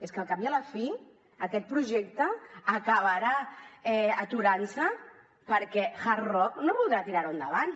és que al cap i a la fi aquest projecte acabarà aturant se perquè hard rock no voldrà tirar lo endavant